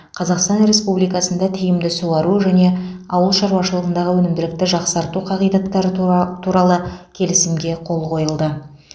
қазақстан республикасында тиімді суару және ауыл шаруашылығындағы өнімділікті жақсарту қағидаттары тура туралы келісімге қол қойылды